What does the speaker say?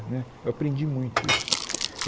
Né eu aprendi muito isso.